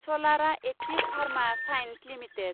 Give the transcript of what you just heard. सलारा active pharma science limited